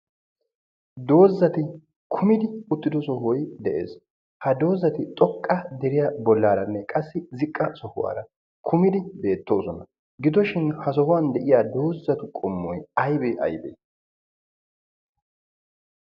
doozzati kummidi uttido sohoy de'ees. ha doozzati xooqqa deriyaa bollaranne qassi ziqqa sohuwara kummidi beettooosona. gidoshin ha sohuwaan doozzatu qommoy aybee aybee?